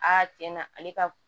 tiɲɛ na ale ka